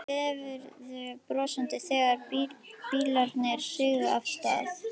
Veifuðum brosandi þegar bílarnir sigu af stað.